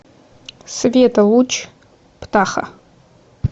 света луч птаха